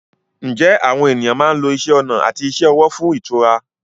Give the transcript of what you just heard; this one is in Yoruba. Ǹjẹ́ àwọn ènìyàn máa ń lo isẹ́ ọnà àti iṣẹ́ ọwọ́ fún ìtura?